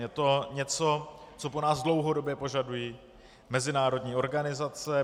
Je to něco, co po nás dlouhodobě požadují mezinárodní organizace.